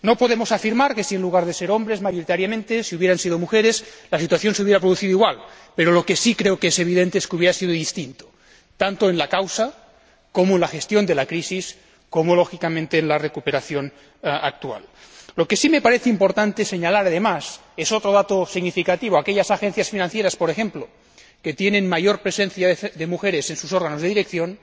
No podemos afirmar que si, en lugar de hombres, hubieran sido mujeres mayoritariamente, la situación se habría producido igual, pero lo que sí creo que es evidente es que habría sido distinto, tanto en la causa, como en la gestión de la crisis, y, lógicamente, en la recuperación actual. Lo que sí me parece importante señalar, además, es otro dato significativo aquellas agencias financieras, por ejemplo, que tienen mayor presencia de mujeres en sus órganos de dirección